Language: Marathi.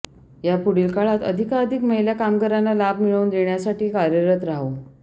यापुढील काळात अधिकाधिक महिला कामगारांना लाभ मिळवून देण्यासाठी कार्यरत राहू